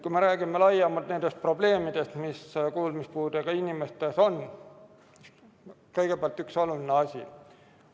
Kui me räägime laiemalt nendest probleemidest, mis kuulmispuudega inimestel on, siis kõigepealt üks oluline asi.